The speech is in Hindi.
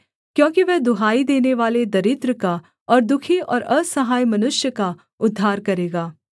क्योंकि वह दुहाई देनेवाले दरिद्र का और दुःखी और असहाय मनुष्य का उद्धार करेगा